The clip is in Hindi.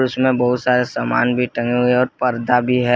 इसमें बहुत सारे सामान भी टंगे हुए और पर्दा भी हैं।